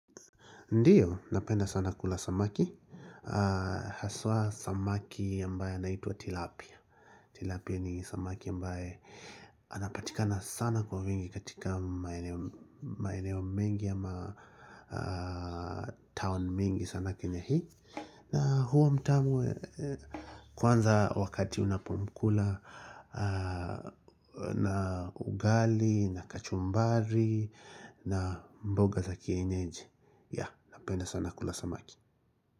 Ndiyo, napenda sana kula samaki Haswa samaki ambaye anaitwa Tilapia Tilapia ni samaki ambaye anapatikana sana kwa wingi katika maeneo mengi ama town mingi sana kenya hii na huwa mtamu kwanza wakati unapomkula na ugali na kachumbari na mboga za kienyeji Yaa, napenda sana kula samaki.